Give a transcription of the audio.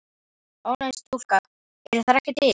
Ónefnd stúlka: Eru þær ekki til?